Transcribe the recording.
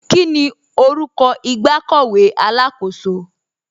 Kíni orúkọ ìgbàkọ̀wé alákọ̀sò?